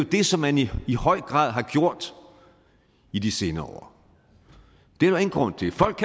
det som man i i høj grad har gjort i de senere år